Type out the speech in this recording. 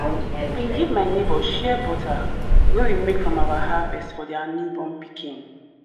bin give my neighbour shea butter wey we make from our harvest for their newborn pikin.